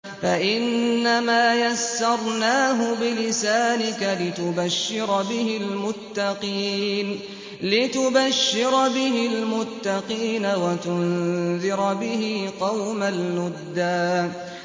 فَإِنَّمَا يَسَّرْنَاهُ بِلِسَانِكَ لِتُبَشِّرَ بِهِ الْمُتَّقِينَ وَتُنذِرَ بِهِ قَوْمًا لُّدًّا